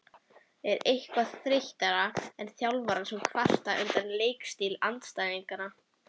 Er eitthvað þreyttara en þjálfarar sem kvarta undan leikstíl andstæðinganna?